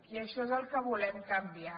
i això és el que volem canviar